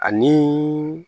Ani